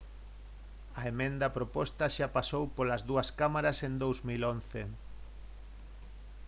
a emenda proposta xa pasou polas dúas cámaras en 2011